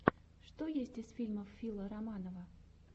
что есть из фильмов фила романова